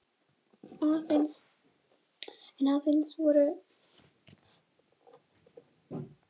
En aðeins að öðrum málum.